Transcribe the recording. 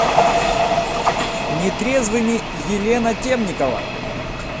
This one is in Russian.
нетрезвыми елена темникова